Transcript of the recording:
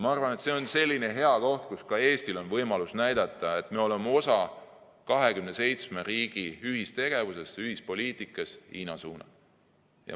Ma arvan, et see on selline hea koht, kus ka Eestil on võimalus näidata, et me oleme osa 27 riigi ühistegevusest ja ühisest poliitikast Hiina suunal.